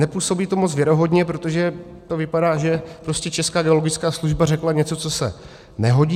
Nepůsobí to moc věrohodně, protože to vypadá, že Česká geologická služba řekla něco, co se nehodí.